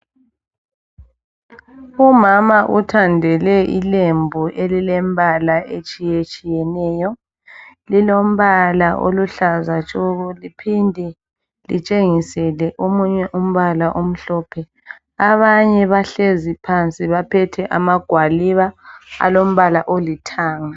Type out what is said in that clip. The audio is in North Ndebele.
Umama uthandele ilembu elilembala etshiye tshiyeneyo lilombala oluhlaza tshoko liphinde litshengisele omunye umbala omhlophe, abanye bahlezi phansi baphethe amagwaliba alombala olithanga.